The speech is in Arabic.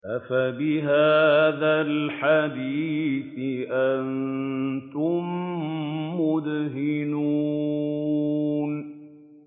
أَفَبِهَٰذَا الْحَدِيثِ أَنتُم مُّدْهِنُونَ